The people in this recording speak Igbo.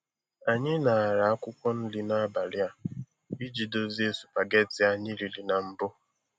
Anyị ṅara akwụkwọ nri n'abalị a iji dozie supageti anyị riri na mbụ.